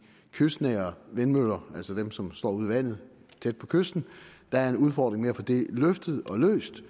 kystnære vindmøller altså dem som står ude i vandet tæt på kysten der er en udfordring med at få det løftet og løst